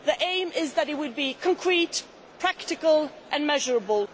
the aim is that it will be concrete, practical and measurable.